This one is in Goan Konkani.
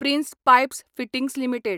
prince pipes fittings limited